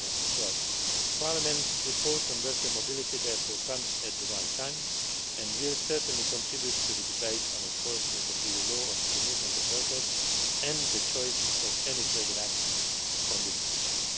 2012. Parliament's report on worker mobility therefore comes at the right time, and will certainly contribute to the debate on enforcement of EU law on free movement of workers and the choice of any further action on this issue.